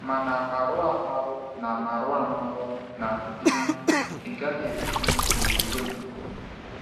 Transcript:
Mana marụamarụ na Mana marụamarụ na um ịgahị edupu mụ na okwukwe mụ.